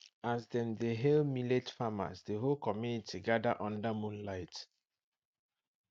as dem dey hail millet farmers the whole community gather under moonlight